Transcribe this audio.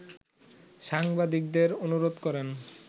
সাংবাদিকদের অনুরোধ করেন